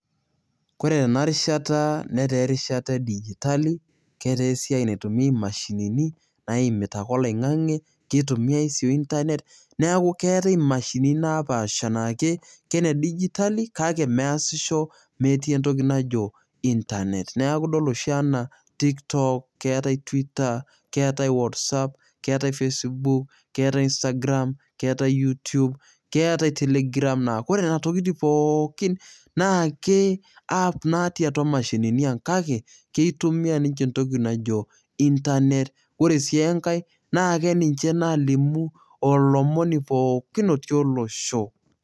Ore ena rishata netaa erishata e digitali ,keetaa esiai naitumia imashinini naimita ake oloingange, keitumiay sii internet . Neeku keetae imashinini naapaasha na ke kene digitali kake measisho metii entoki najo internet . Neeku idol oshi naa tiktok, keetae twitter , keetae whatsapp, keetae facebook ,keetae instagram, keetae youtube , keetae telegram . Ore nena tokitin pookin naa app natii atua mashinini ang kake keitumia ninche entoki najo internet. Ore sii enkae naa keninche nalimu olomoni pooki ootii olosho.